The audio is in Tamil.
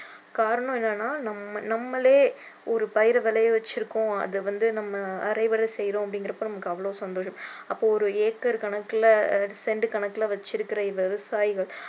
காரணம் என்னென்னா நம்ம நம்மலே ஒரு பயிரை விளைய வெச்சிருக்கோம் அதை வந்து நம்ம அறுவடை செய்கிறோம் அப்படிங்கிறப்போ நமக்கு அவ்ளோ சந்தோஷம் அப்போ ஒரு ஏக்கர் கணக்குல செண்ட் கணக்குல வச்சிருக்கிற விவசாயிகள்